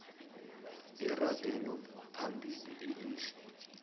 iragelo phambili elihle